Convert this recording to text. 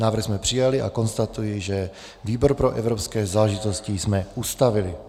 Návrh jsme přijali a konstatuji, že výbor pro evropské záležitosti jsme ustavili.